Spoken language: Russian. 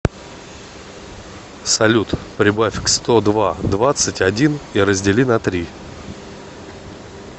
салют прибавь к сто два двадцать один и раздели на три